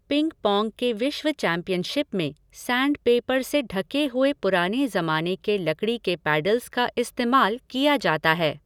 Ping-pong के विश्व championship में सैंडपेपर से ढके हुए पुराने जमाने के लकड़ी के पैडल्स का इस्तेमाल किया जाता है।